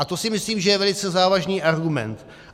A to si myslím, že je velice závažný argument.